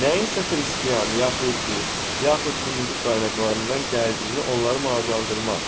Nəyinsə xristian, yəhudi, yaxud Hindu qaynaqlarından gəldiyini onları maraqlandırmaz.